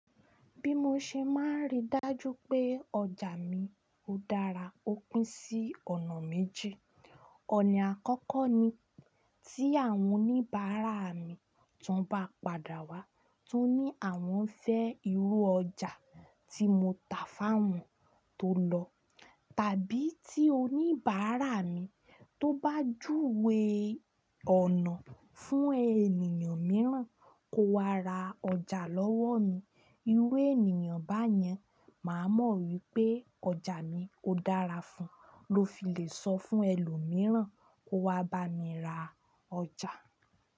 Bí mo ṣe máa rí dájú pé ọjà mi ó dára, ó pín sí ọ̀nà méjì. Ọ̀nà àkọ́kọ́ ni tí àwọn oníbàárà mi tón bá padà wá tó ní àwọn fẹ́ irú ọjà tí mo tà fáwọn tó lọ, tàbí tí oníbàárà mi tó bá júwe ọ̀nà fún ènìyàn mìíràn kó wá ra ọjà lọ́wọ́ mi. Irú ènìyàn báyẹn màá mọ̀ wípé ọjà mi ó dára fún un, ló fi lè sọ fún ẹlòmíràn kó wá bá mi ra ọjà.